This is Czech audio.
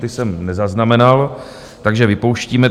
Ty jsem nezaznamenal, takže vypouštíme.